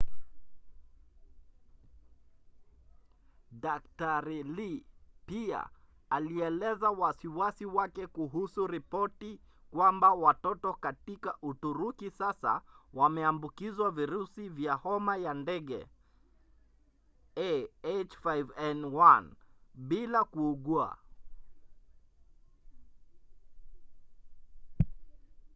dkt. lee pia alieleza wasiwasi wake kuhusu ripoti kwamba watoto katika uturuki sasa wameambukizwa virusi vya homa ya ndege ah5n1 bila kuugua